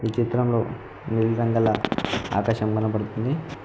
ఈ చిత్రంలో నీలి రంగుగల ఆకాశం కనబడుతుంది.